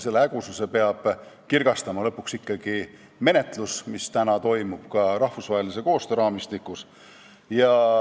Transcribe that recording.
Selle hägususe peab lõpuks kirgastama ikkagi menetlus, mis toimub ka rahvusvahelise koostöö raamistikus.